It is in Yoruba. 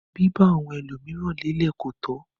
Biba àwọn ẹlomiran lelẹ ko tọ.